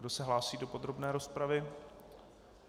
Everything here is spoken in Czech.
Kdo se hlásí do podrobné rozpravy?